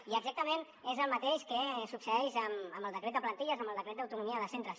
i exactament és el mateix que succeeix amb el decret de plantilles amb el decret d’autonomia de centres